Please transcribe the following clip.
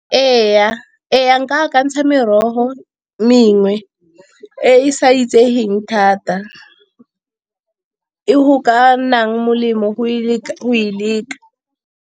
Ee, nka akantsha merogo mengwe e e sa itsegeng thata e go ka nang molemo go e leka.